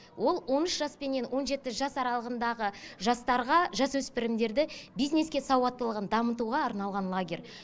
ол он үш жаспенен он жеті жас аралығындағы жастарға жасөспірімдерді бизнеске сауаттылығын дамытуға арналған лагерь